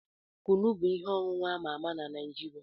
Kunu bụ ihe ọṅụṅụ ama ama na Naijiria.